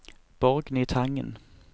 Borgny Tangen